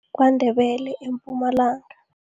KwaNdebele eMpumalanga.